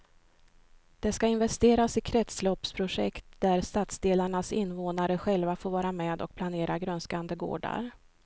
Det ska investeras i kretsloppsprojekt där stadsdelarnas invånare själva får vara med och planera grönskande gårdar.